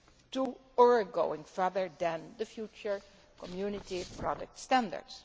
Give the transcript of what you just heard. to, or going further than, the future Community product standards.